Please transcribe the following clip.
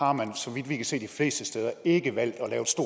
har man så vidt vi kan se de fleste steder ikke valgt